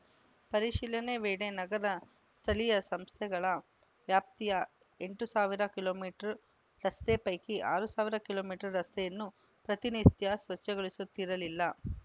ಪರಿಶೀಲನೆ ವೇಳೆ ನಗರ ಸ್ಥಳೀಯ ಸಂಸ್ಥೆಗಳ ವ್ಯಾಪ್ತಿಯ ಎಂಟು ಸಾವಿರ ಕಿಲೋ ಮೀಟರ್ ರಸ್ತೆ ಪೈಕಿ ಆರು ಸಾವಿರ ಕಿಲೋ ಮೀಟರ್ ರಸ್ತೆಯನ್ನು ಪ್ರತಿನಿತ್ಯ ಸ್ವಚ್ಛಗೊಳಿಸುತ್ತಿರಲಿಲ್ಲ